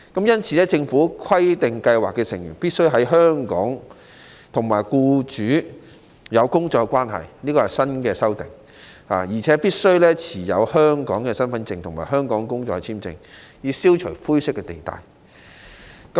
因此，《條例草案》規定計劃成員必須在香港與僱主有僱傭關係，而且必須持有香港身份證或香港工作簽證，以消除灰色地帶。